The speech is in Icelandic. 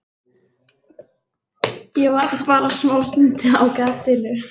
Ég var bara smástund á gatinu.